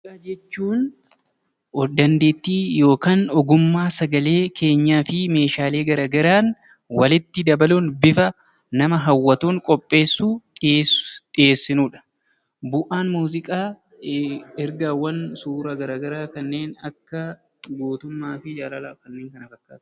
Muuziqaa jechuun ogummaa dandeettii sagalee keenyaa fi Meeshaalee garaagaraan walitti dabaluun bifa nama hawwatuun qopheessuun dhiheessinudha. Bu'aan muuziqaa ergaawwan suura garaagaraa akka gootummaa fi jaalalaa kanneen kana fakkaatan.